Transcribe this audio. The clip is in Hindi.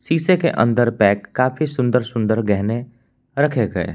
पीसे के अंदर पैक काफी सुंदर सुंदर गहने रखे गए हैं।